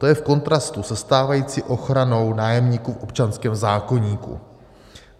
To je v kontrastu se stávající ochranou nájemníků v občanském zákoníku.